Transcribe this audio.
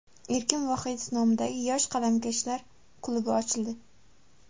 Erkin Vohidov nomidagi yosh qalamkashlar klubi ochildi.